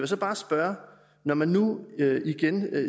så bare spørge når man nu igen